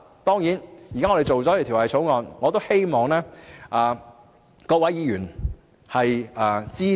當然，現時我們草擬了《條例草案》，我亦希望各位議員會支持。